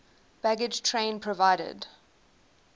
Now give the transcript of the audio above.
baggage train provided